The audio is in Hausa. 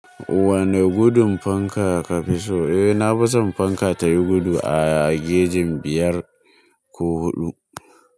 Wane gudun fanka kafi so? Eh, nafi son fanka tayi gudu a gejin biyar ko huɗu.